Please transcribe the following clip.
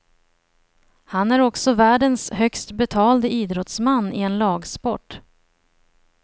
Han är också världens högst betalde idrottsman i en lagsport.